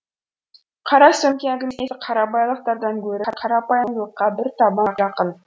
қара сөмке әңгімесі қарабайырлықтан гөрі қарапайымдылыққа бір табан жақын